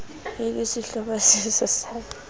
e le sehlomathiso sa a